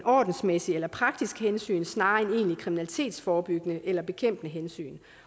ordensmæssigt eller praktisk hensyn snarere end egentligt kriminalitetsforebyggende eller bekæmpende hensyn